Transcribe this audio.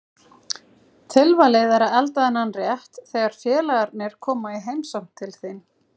Tilvalið er að elda þennan rétt þegar félagarnir koma í heimsókn til þín.